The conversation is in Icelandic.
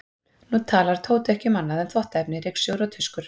Nú talar Tóti ekki um annað en þvottaefni, ryksugur og tuskur.